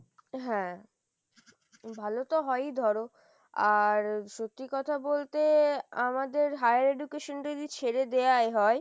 হ্যাঁ, ভালো তো হয়ই ধরো আর সত্যি কথা বলতে আমাদের higher education টা যদি ছেড়ে দেওয়াই হয়,